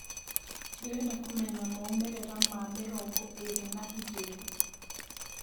ndĩreda kũmenya maũmĩrira ma mĩrongo ĩrĩ na igĩri